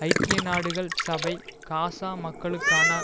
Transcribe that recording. ஐக்கிய நாடுகள் சபை காசா மக்களுக்கான